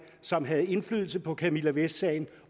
som havde indflydelse på camilla vest sagen